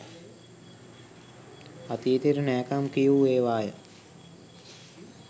අතීතයට නෑකම් කියූ ඒවාය.